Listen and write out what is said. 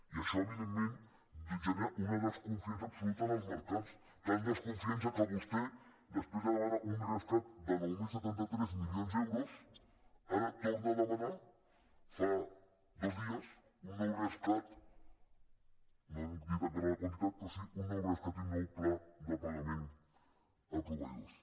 i això evidentment genera una desconfiança absoluta en els mercats tanta desconfiança que vostè després de demanar un rescat de nou mil setanta tres milions d’euros ara torna a demanar fa dos dies un nou rescat no n’han dit encara la quantitat però sí un nou rescat i un nou pla de pagament a proveïdors